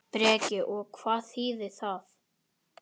Breki: Og hvað þýðir það?